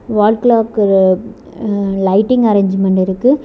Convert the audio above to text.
வால் clock அ lighting arrangement இருக்கு.